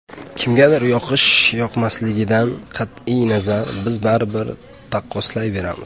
Kimgadir yoqish-yoqmasligidan qat’iy nazar, biz baribir taqqoslayveramiz.